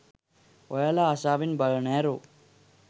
ඔයාලා ආසාවෙන් බලන ඇරෝ